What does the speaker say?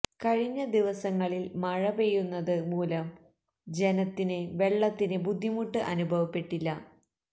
കഴിഞ്ഞ ദിവസങ്ങളില് മഴ പെയ്യുന്നത് മൂലം ജനത്തിന് വെളളത്തിന് ബുദ്ധിമുട്ട് അനുഭവപ്പെട്ടില്ല